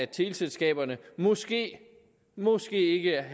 teleselskaberne måske måske ikke